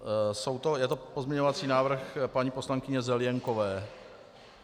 Je to pozměňovací návrh paní poslankyně Zelienkové.